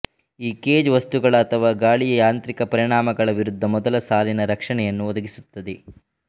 ಈ ಕೇಜ್ ವಸ್ತುಗಳ ಅಥವಾ ಗಾಳಿಯ ಯಾಂತ್ರಿಕ ಪರಿಣಾಮಗಳ ವಿರುದ್ಧ ಮೊದಲ ಸಾಲಿನ ರಕ್ಷಣೆಯನ್ನು ಒದಗಿಸುತ್ತದೆ